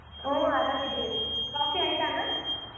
ಓ ಆರಾಮ್ ಇದೀವಿ coffee ಆಯ್ತಾ ಅಣ್ಣಾ.